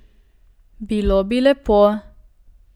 Bilo bi lepo.